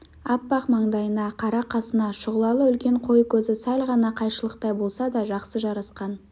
аппақ маңдайына қара қасына шұғылалы үлкен қой көзі сәл ғана қайшылықтай болса да жақсы жарасқан